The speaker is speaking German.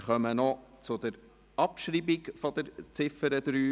Wir kommen noch zur Abschreibung der Ziffer 3.